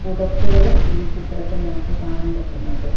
പുതപ്പുകളും ഈ ചിത്രത്തിൽ നമുക്ക് കാണാൻ പറ്റുന്നുണ്ട്.